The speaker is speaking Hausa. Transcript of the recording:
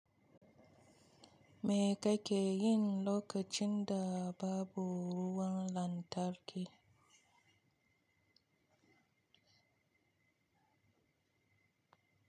Me kake yi lokacin da babu ruwan lantarki?